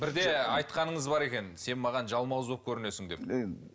бірде айтқаныңыз бар екен сен маған жалмауыз болып көрінесің деп